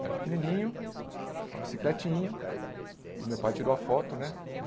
Eu era pequenininho, uma bicicletinha, e meu pai tirou a foto, né?